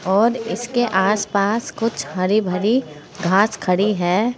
और इसके आसपास कुछ हरी भरी घास खड़ी है।